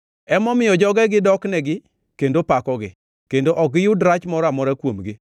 Emomiyo jogegi doknegi kendo pakogi kendo ok giyud rach moro amora kuomgi.